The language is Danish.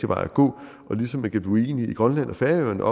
vej at gå og ligesom man kan blive uenige i grønland og færøerne